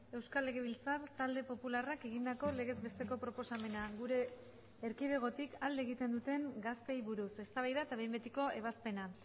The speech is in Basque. euskal legebiltzar talde popularrak egindako legez besteko proposamena gure erkidegotik alde egiten duten gazteei buruz eztabaida eta behin betiko ebazpena